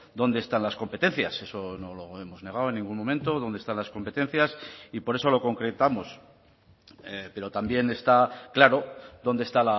dónde están las competencias eso no lo hemos negado en ningún momento dónde están las competencias y por eso lo concretamos pero también está claro dónde está